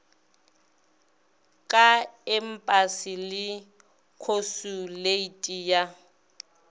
ka empasi le khosuleiti ya